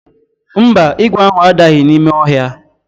Mba, ígwè ahụ adaghị n'ime ọhịa.